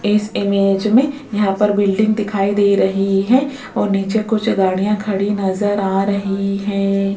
इस इमेज में यहां पर बिल्डिंग दिखाई दे रही है और नीचे कुछ गाड़ियां खड़ी नजर आ रही हैं।